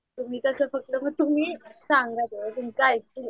तुम्ही कसं तुम्ही सांगा तुमचं ऐकतील.